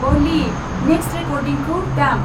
अली, next रेकर्डिंखौ दाम।